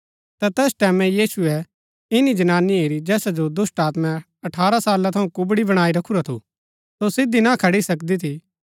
ता तैस टैमैं यीशुऐ ईनी जनानी हैरी जैसा जो दुष्‍टात्मैं अठारह साला थऊँ कुबड़ी बणाई रखुरा थू सो सिधी ना खड़ी सकदी थी